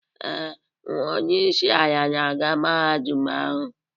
Ee, nwa onye isi ala na-aga Mahadum ahu.